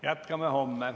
Jätkame homme.